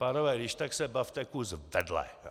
Pánové, když tak se bavte kus vedle!